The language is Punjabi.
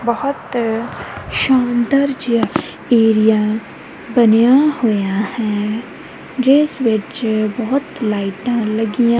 ਬਹੁਤ ਸੁੰਦਰ ਜਿਹਾ ਏਰੀਆ ਬਣਿਆ ਹੋਇਆ ਹੈ ਜਿਸ ਵਿੱਚ ਬਹੁਤ ਲਾਈਟਾਂ ਲੱਗੀਆਂ--